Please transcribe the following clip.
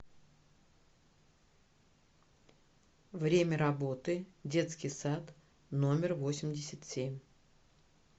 время работы детский сад номер восемьдесят семь